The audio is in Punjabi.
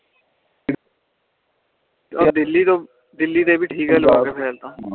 ਆਹ ਦਿੱਲੀ ਤੋਂ ਦਿੱਲੀ ਤੋਂ ਵੀ ਠੀਕ ਆ ਲਾਵਾਂ ਕੇ ਫਿਲੇ ਤਾ